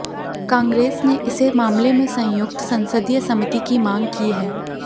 कांग्रेस ने इसे मामले में संयुक्त संसदीय समिति की मांग की है